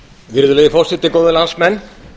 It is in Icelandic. virðulegi forseti góðir landsmenn